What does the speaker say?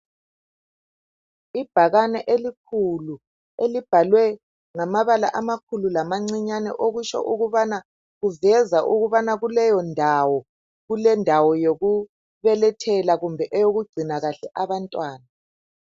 Ibhakane elikhulu elibhalwe ngamabala amakhulu lamancinyane okutsho ukubana kuveza ukubana leyondawo kulendawo yokubelethela kumbe eyokugcina kahle abantwana.